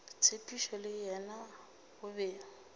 tshepišo le yena o be